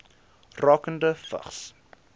rakende vigs